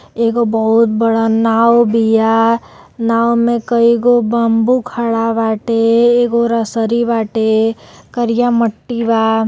एगो बहुत बड़ा नाव बिया नाव में कईगो बम्बू खाड़ा बाटे इगो रसरी बाटे करिया मट्टी बा--